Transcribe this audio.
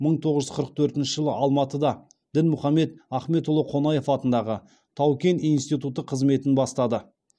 мың тоғыз жүз қырық төртінші жылы алматыда дінмұхаммед ахметұлы қонаев атындағы тау кен институты қызметін бастады